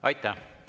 Aitäh!